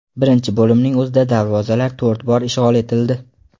Birinchi bo‘limning o‘zida darvozalar to‘rt bor ishg‘ol etildi.